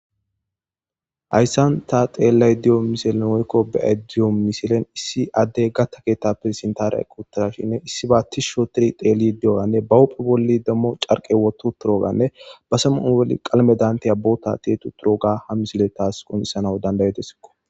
Hayssan ta xeellaayida diyo misilen oykko beyay diyo misilen issi addey gatta keetta perzentariya quttaashinne issi baattishsho tir teeli di7oganne bahupphe bolli demmo carqe wotu turoganne basemun bolli qalme dantiya boota te tu turoga ha misile taas qonisana dandayetesikko.